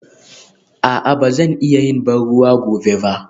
A'a ba zan iya yin ban ruwa gobe ba?